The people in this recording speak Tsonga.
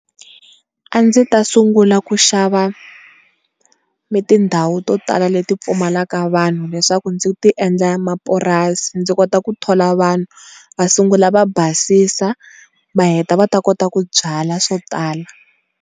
A ndzi ta sungula ku xava ni tindhawu to tala leti pfumalaka vanhu leswaku ndzi ti endla mapurasi ndzi kota ku thola vanhu va sungula va basisa va heta va ta kota ku byala swo tala.